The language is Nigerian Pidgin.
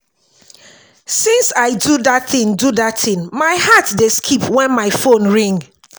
since i do dat thing do dat thing my heart dey skip wen my phone ring